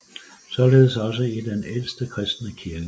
Således også i den ældste kristne kirke